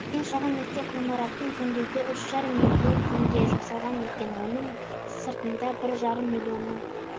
ең шағын мектеп ғимаратын жөндеуге үш жарым миллион теңге жұмсалған екен оның сыртында бір жарым миллионның